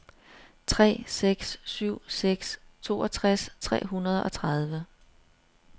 tre seks syv seks toogtres tre hundrede og tredive